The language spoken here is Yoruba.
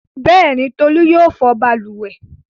Bẹ́ẹ̀ni, Tolú yóò fọ balùwẹ̀.